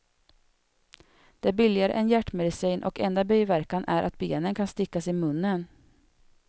Den är billigare än hjärtmedicin och enda biverkan är att benen kan stickas i munnen.